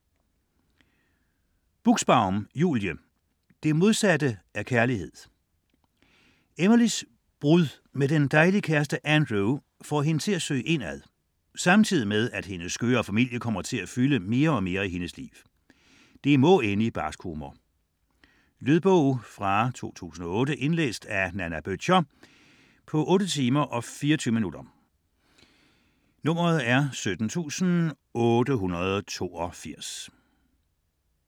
Buxbaum, Julie: Det modsatte af kærlighed Emilys brud med den dejlige kæreste Andrew får hende til at søge indad, samtidig med, at hendes skøre familie kommer til at fylde mere og mere i hendes liv. Det må ende i barsk humor ! Lydbog 17882 Indlæst af Nanna Bøttcher, 2008. Spilletid: 8 timer, 24 minutter.